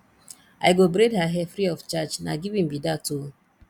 i go braid her hair free of charge na giving be dat o